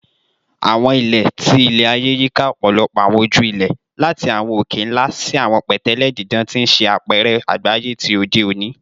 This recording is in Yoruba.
Awọn ilẹ ti ilẹ-aye yika ọpọlọpọ awọn oju-ilẹ, lati awọn oke-nla si awọn pẹtẹlẹ didan, ti n ṣe apẹrẹ agbaye ti ode oni.